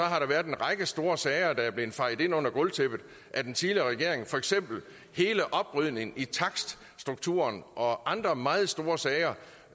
har der været en række store sager der er blevet fejet ind under gulvtæppet af den tidligere regering for eksempel hele oprydningen i takststrukturen og andre meget store sager